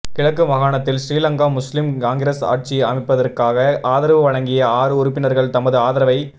கிழக்கு மாகாணத்தில் ஸ்ரீலங்கா முஸ்லிம் காங்கிரஸ் ஆட்சியமைப்பதற்காக ஆதரவு வழங்கிய ஆறு உறுப்பினர்கள் தமது ஆதரவை